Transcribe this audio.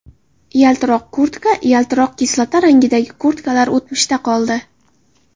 Yaltiroq kurtka Yaltiroq kislota rangidagi kurtkalar o‘tmishda qoldi.